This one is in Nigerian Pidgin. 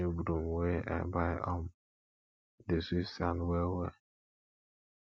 dis new broom wey i buy um dey sweep sand wellwell